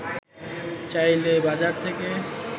চাইলে বাজার থেকে